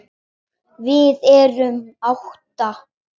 Við erum átta.